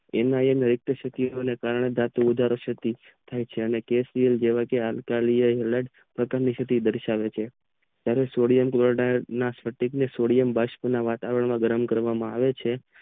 એમના એ કારણે પાર્થીમિક ઓજારો કપિલ જેવા કે દર્શાવે છે સોડિયમ ને વાતાવરણ માં ગરમ કરવામાં આવે છે